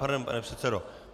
Pardon, pane předsedo.